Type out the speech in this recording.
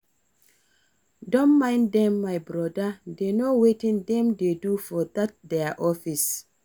No mind dem my broda dey no wetin dem dey do for dat their office